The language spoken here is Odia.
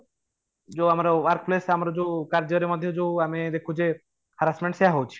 ଯୋଉଁ ଆମର workplace ଆମର ଯୋଉ କାର୍ଯ୍ୟ ରେ ମଧ୍ୟ ଯୋଉ ଆମେ ଦେଖୁଛେ harassment ସେଇୟା ହଉଛି